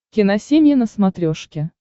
киносемья на смотрешке